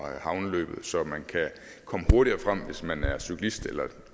havneløbet så man kan komme hurtigere frem hvis man er cyklist eller